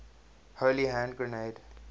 holy hand grenade